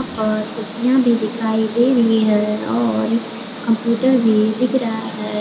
और कुर्सियां भी दिखाई दे रही है और कंप्यूटर भी दिख रहा है।